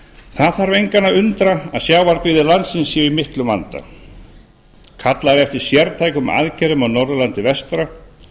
það þarf engan að undra að sjávarbyggðir landsins séu í miklum vanda kallað er eftir sértækum aðgerðum á norðurlandi vestra